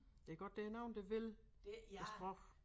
Det godt der nogen der vil æ sproch